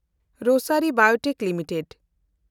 ᱨᱳᱥᱮᱱᱰᱤ biotech limited